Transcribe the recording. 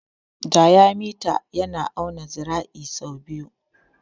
Diyamita yana auna zira'i sau biyu.